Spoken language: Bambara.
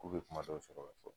K'u bɛ kuma dɔw sɔrɔ ka fɔ